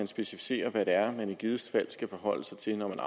specificeres hvad det er man i givet fald skal forholde sig til når man